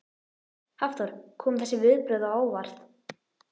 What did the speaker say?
Hafþór: Koma þessi viðbrögð á óvart?